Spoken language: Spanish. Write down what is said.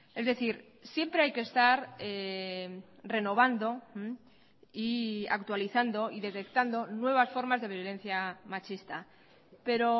es decir siempre hay que estar renovando y actualizando y detectando nuevas formas de violencia machista pero